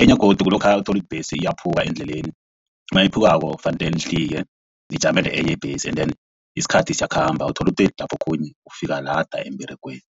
enye godu kulokha uthola iimbhesi iyaphuka endleleni mayiphukako kufanele nihlike nijamele enye ibhesi and then isikhathi siyakhamba uthola lapho okhunye ufika lada emberegweni.